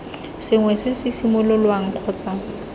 sengwe se se simololwang kgotsa